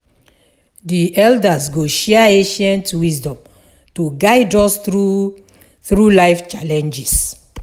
The elders go share ancient wisdom to guide us through through life challenges.